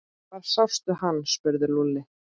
Hvar sástu hann? spurði Lúlli.